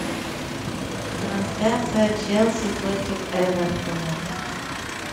трансляция челси против эвертона